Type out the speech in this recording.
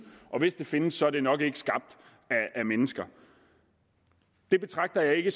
og hvis de findes er de nok ikke skabt af mennesker det betragter jeg